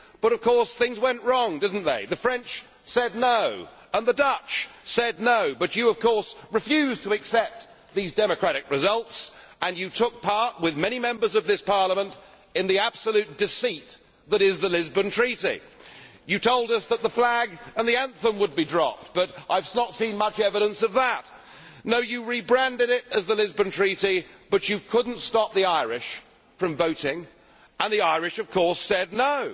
But things went wrong, did they not? The French said no' and the Dutch said no', but you refused to accept these democratic results and you took part, with many Members of this Parliament, in the absolute deceit that is the Lisbon Treaty. You told us that the flag and the anthem would be dropped, but I have not seen much evidence of that. No, you rebranded it as the Lisbon Treaty but you could not stop the Irish from voting, and the Irish said